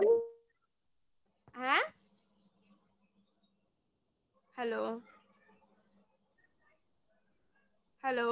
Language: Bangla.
হ্যাঁ? hello hello